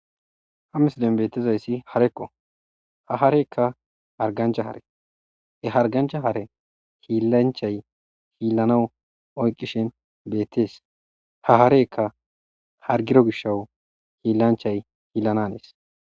Ha misiliyam beetiza issi hareko.ha hareka harigganicha hare ha hariggancha hare hillanichayi hilanawu oyiqqishin beetets.ha hareka harggido gishawu hillanichay hillananes.